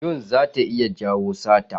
Yun zata iya jawo sata.